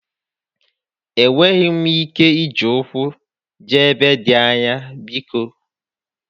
Enweghị m ike iji ụkwụ jee ebe dị anya biko.